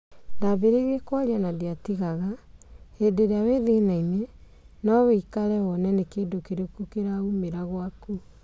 Ndambĩrĩrie kwaria na ndiatigaga,'Hĩndi ĩria wĩ thĩnainĩ ,no wikare wone ni kĩndũ kĩrĩkũ kĩraumĩra gwaku